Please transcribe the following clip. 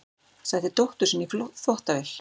Setti dóttur sína í þvottavél